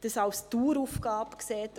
Das versteht er als Daueraufgabe.